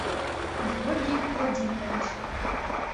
георгий владимирович